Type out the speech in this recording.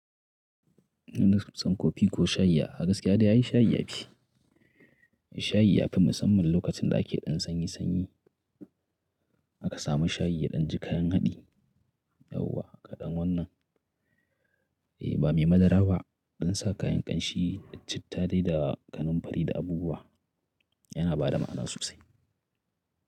Muna shan kofi ko shayi a gaskiya dai shayi ya fi. Shayi ya fi musamman lokacin da ake ɗan sanyi sanyi. A ka samu shayi ya ɗan ji kayan haɗi, yauwa kaɗan wannan. Eh ba mai madara ba a dan sa kayan ƙanshi, citta dai da kanamfari da abubuwa yana bada ma'ana sosai.